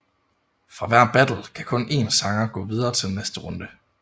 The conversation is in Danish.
Fra hver battle kan kun en sanger gå videre til næste runde